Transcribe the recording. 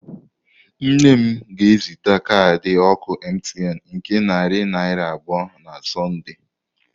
Nne m ga-ezite kaadị oku Mtn nke narị naira abụọ na Sọnde.